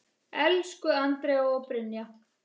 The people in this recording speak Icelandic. Elsku Andrea og Brynja.